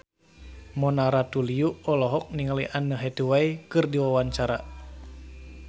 Mona Ratuliu olohok ningali Anne Hathaway keur diwawancara